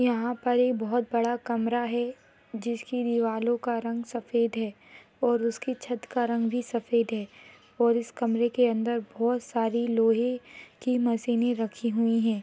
यहाँ पर बहुत बड़ा कमरा है जिसकी दीवारों का रंग सफ़ेद है और उसकी छत का रंग भी सफ़ेद है और इस कमरे के अंदर बहुत सारे लोहे की मशीने रखी हुई है।